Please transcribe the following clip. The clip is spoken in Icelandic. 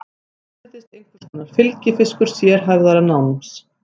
Hún virðist einhvers konar fylgifiskur sérhæfðara náms.